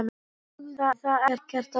Sögðu þar ekkert að finna.